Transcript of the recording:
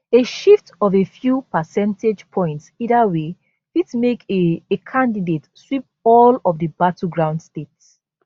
a shift of a few percentage points either way fit make a a candidate sweep all of di battleground states